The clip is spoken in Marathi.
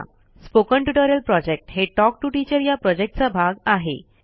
स्पोकन ट्युटोरियल प्रॉजेक्ट हे टॉक टू टीचर या प्रॉजेक्टचा भाग आहे